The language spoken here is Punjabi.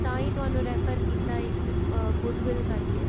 ਤਾਂਹੀਂ ਤੁਹਾਨੂੰ refer ਕੀਤਾ ਇੱਕ good will ਕਰਕੇ